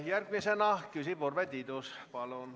Järgmisena küsib Urve Tiidus, palun!